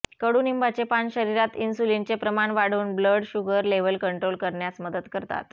कडुनिंबाचे पान शरीरात इन्सुलिनचे प्रमाण वाढवून ब्लड शुगर लेवल कंट्रोल करण्यास मदत करतात